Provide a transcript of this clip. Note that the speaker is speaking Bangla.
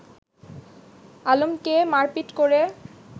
আলমকে মারপিট করে